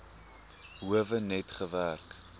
howe net gewerk